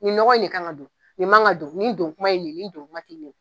Nin nɔgɔ nin kan ka don, nin man kan ka don, nin don kuma ye nin ye, nin don kuma ti nin ye.